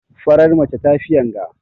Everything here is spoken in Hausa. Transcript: Farar mace tafi yanga.